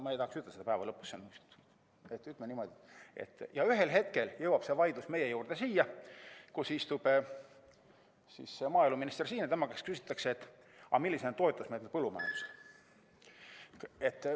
Ma ei tahaks ütelda, et päeva lõpuks, ütleme niimoodi, et ühel hetkel jõuab see vaidlus siia meie juurde, siin istub maaeluminister ja tema käest küsitakse, millised on toetusmeetmed põllumajandusele.